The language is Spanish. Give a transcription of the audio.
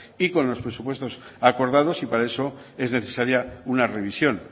y con los presupuestos acordados y para eso es necesaria una revisión